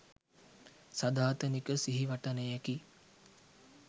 සදාතනික සිහිවටනයකි.